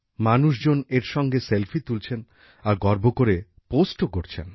মানুষজন এর সঙ্গে সেলফি তুলছেন আর গর্ব করে পোস্টও করছেন